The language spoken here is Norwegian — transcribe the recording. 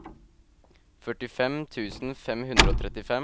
førtifem tusen fem hundre og trettifem